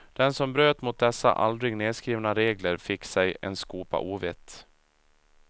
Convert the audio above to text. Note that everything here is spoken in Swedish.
Den som bröt mot dessa aldrig nerskrivna regler fick sig en skopa ovett.